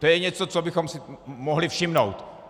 To je něco, čeho bychom si mohli všimnout.